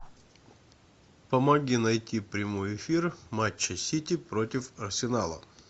помоги найти прямой эфир матча сити против арсенала